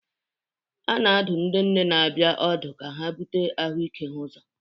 A na-adụ ndị nne na-abịa ọdụ ka ha bute ahụike ha ụzọ.